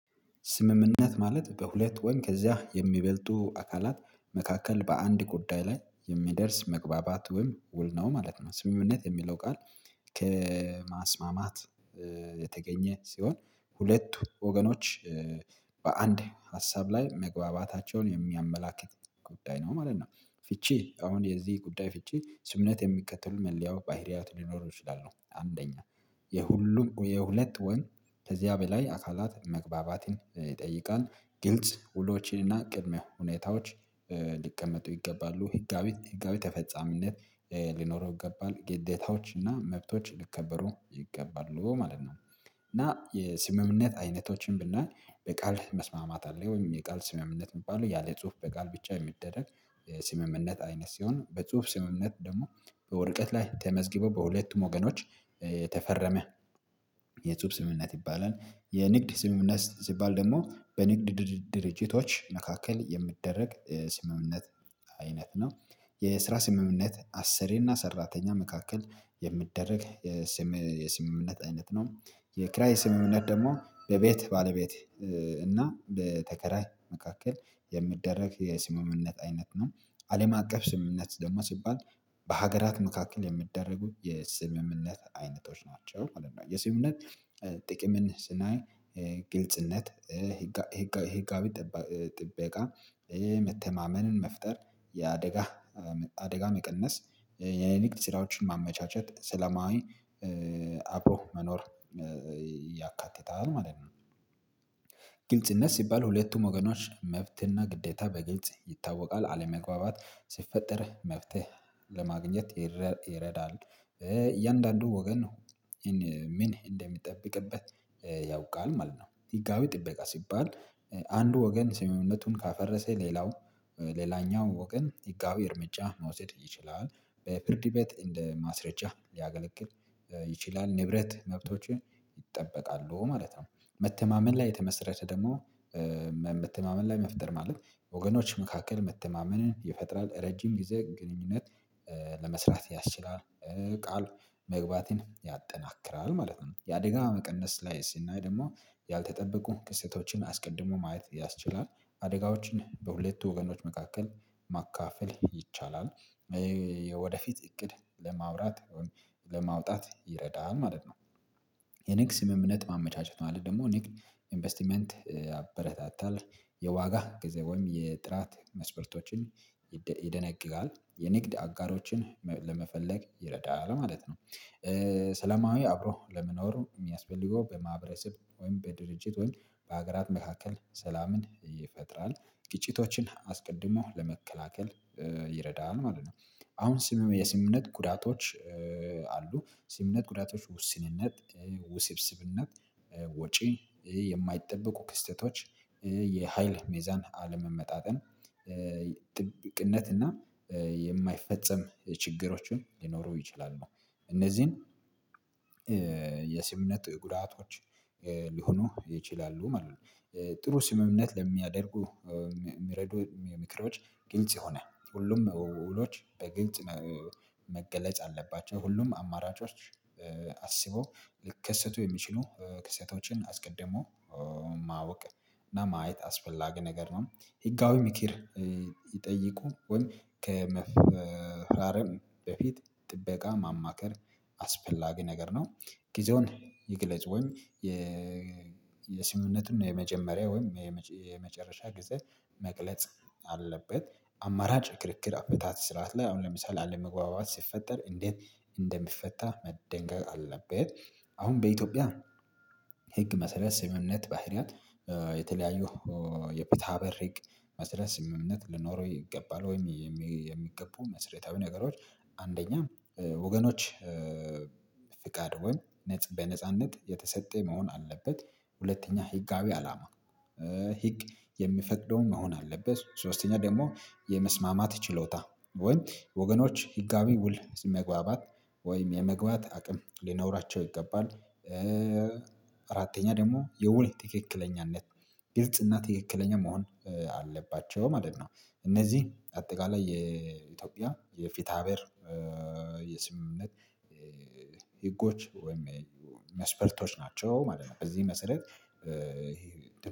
ስምምነት ማለት በሁለት ወይም ከዚያ የሚበልጡ አካላት መካከል በአንድ ጉዳይ ላይ የሚደርስ መግባባት ወይም ውል ነው ማለት ነው። ስምምነት የሚለው ቃል ከማስማማት የተገኘ ሲሆን ሁለት ወገኖች በአንድ ሀሳብ ላይ መግባባታቸውን የሚያመላክት ጉዳይ ነው ማለት ነው። ፍቺ አሁን የዚህ ጉዳይ ፍቺ ስምነት የሚከተሉ መለያው ባህሪያት ሊኖረው ይችላሉ። አንደኛ፥ የሁሉም የሁለት ወይም ከዚያ በላይ አካላት መግባባትን ይጠይቃል። ግልጽ ውሎችን እና ቅድሚያ ሁኔታዎች ሊቀመጡ ይገባሉ። ህጋዊ ህጋዊ ተፈጻሚነት ሊኖረው ይገባል። ግዴታዎች እና መብቶች ሊከበሩ ይገባሉ ማለት ነው። እና የስምምነት አይነቶችን ብናይ በቃል መስማማት አለ ወይም የቃል ስምምነት የሚባለው ያለ ጽሁፍ በቃል ብቻ የሚደረግ ስምምነት አይነት ሲሆን፤ በጽሁፍ ስምምነት ደግሞ በወረቀት ላይ ተመዝግቦ በሁለቱም ወገኖች የተፈረመ የጽሁፍ ስምምነት ይባላል። የንግድ ስምምነት ሲባል ደግሞ በንግድ ድርጅቶች መካከል የሚደረግ የስምምነት አይነት ነው። የስራ ስምምነት አስሪና ሰራተኛ መካከል የሚደረግ የስምምነት አይነት ነው። የክራይ ስምምነት ደግሞ በቤት ባለቤት እና በተከራይ መካከል የሚደረግ የስምምነት አይነት ነው። አለም አቀፍ ስምምነት ደግሞ ሲባል በሀገራት መካከል የሚደረጉ የስምምነት አይነቶች ናቸው ማለት ነው። የስምምነት ጥቅምን ስናይ ግልጽነት ህጋዊ ጥበቃ መተማመንን መፍጠር የአደጋ አደጋ መቀነስ የሊቅ ስራዎችን ማመቻቸት ስለማዊ አብሮ መኖር ማለት ነው። ግልጽነት ሲባል ሁለቱም ወገኖች መብትና ግዴታ በግልጽ ይታወቃል። አለመግባባት ሲፈጠር መፍትሄ ለማግኘት ይረዳል። እያንዳንዱ ወገን ምን እንደሚጠብቅበት ያውቃል ማለት ነው። ህጋዊ ጥበቃ ሲባል አንዱ ወገን ስምምነቱን ካፈረሰ ሌላው ሌላኛው ወገን ህጋዊ እርምጃ መውሰድ ይችላል። በፍርድ ቤት እንደ ማስረጃ ሊያገለግል ይችላል። ንብረት መብቶችን ይጠበቃሉ ማለት ነው። መተማመን ላይ የተመሰረተ ደግሞ መተማመን ላይ መፍጠር ማለት ወገኖች መካከል መተማመንን የፈጠራል ረጅም ጊዜ ግንኙነት ለመስራት ያስችላል። ቃል መግባትን ያጠናክራል ማለት ነው። የአደጋ መቀነስ ላይ ስናይ ደግሞ ያልተጠበቁ ክስተቶችን አስቀድሞ ማየት ያስችላል። አደጋዎችን በሁለቱ ወገኖች መካከል ማካፈል ይቻላል። ወደፊት እቅድ ለማውራት ለማውጣት ይረዳል ማለት ነው። የንግድ ስምምነት ማመቻቸት መለት ደግሞ ንግድ ኢንቨስትመንት ያበረታታል። የዋጋ ጊዜ ወይም የጥራት መስፈርቶችን ይደነግጋል። የንግድ አጋሮችን ለመፈለግ ይረዳል ማለት ነው። ሰላማዊ አብሮ ለመኖር የሚያስፈልገው በማህበረሰብ ወይም በድርጅት ወይም በሀገራት መካከል ሰላምን ይፈጥራል። ግጭቶችን አስቀድሞ ለመከላከል ይረዳል ማለት ነው። አሁን የስምምነት ጉዳቶች አሉ። ስምምነት ጉዳቶች ውስንነት፣ ውስብስብነት፣ ወጪ፣ የማይጠበቁ ክስተቶች፣ የሀይል ሜዛን አለመመጣጠን፣ እና የማይፈጸም ችግሮችን ሊኖረው ይችላሉ። እነዚህን የስምምነት ጉዳቶች ሊሆኑ ይችላሉ ማለት ነው። ጥሩ ስምምነት ለሚያደርጉ ሚረዱ ምክሮች ግልጽ የሆነ ሁሉም ውሎች በግልጽ መገለጽ አለባቸው። ሁሉም አማራጮች አስበው ሊከሰቱ የሚችሉ ክስተቶችን አስቀድሞ ማወቅ እና ማየት አስፈላጊ ነገር ነው። ህጋዊ ምክር ይጠይቁ ወይም ከመፍራረም በፊት ጥበቃ ማማከር አስፈላጊ ነገር ነው። ጊዜውን ይግለጽ ወይም የስምምነትን የመጀመሪያ ወይም የመጨረሻ ጊዜ መግለጽ አለበት። አማራጭ ክርክር አፈታት ስርዓት ላይ አሁን ለምሳሌ አለመግባባት ሲፈጠር እንዴት እንደሚፈታ መደንገግ አለበት። አሁን በኢትዮጵያ ህግ መሰረት ስምምነት ባህሪያት የተለያዩ የፍትሀብሄር ህግ መሰረት ስምምነት ልኖረው ይገባል ወይም የሚገቡ መስሪያዊ ነገሮች አንደኛ ወገኖች ፍቃድ ወይም በነጻነት የተሰጠ መሆን አለበት። ሁለተኛ ህጋዊ አላማ ህግ የሚፈቅደውን መሆን አለበት። ሶስተኛ ደግሞ የመስማማት ችሎታ ወይ ወገኖች ህጋዊ ውል መግባባት ወይም የመግባት አቅም ሊኖራቸው ይገባል። አራተኛ ደግሞ የውል ትክክለኛነት ግልጽ እና ትክክለኛ መሆን አለባቸው ማለት ነው። እነዚህ አጠቃላይ የኢትዮጵያ የፍትሃብሄር የስምምነት ህጎች ወይም መስፈርቶች ናቸው ማለት ነው። በዚህ መሰረት